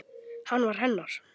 Hann var hennar.